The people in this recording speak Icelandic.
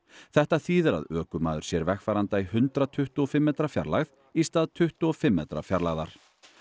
þetta þýðir að ökumaður sér vegfaranda í hundrað tuttugu og fimm metra fjarlægð í stað tuttugu og fimm metra fjarlægðar